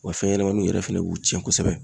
Wa fɛn ɲɛnɛmaniw yɛrɛ fɛnɛ b'u cɛn kosɛbɛ.